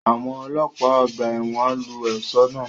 Àwọn ọlọ́pàá ọgbà ẹ̀wọ̀n lu ọ̀ṣọ́ náà